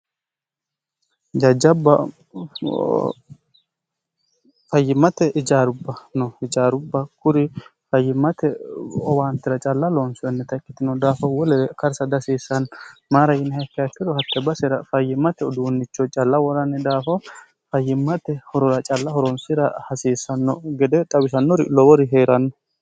jajjabba fayyimmate ijaarubba no ijaarubba kuri fayyimmate owaantira calla loonsoennita ikkitino daafo wolee karsa dihasiissanno maara yiniha ikkiha ikkiro hatte basira fayyimmate uduunnicho calla woranni daafoo fayyimmate horora calla horonsira hasiissanno gede xawisannori lowori hee'ranno